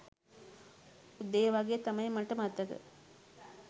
උදේ වගේ තමයි මට මතක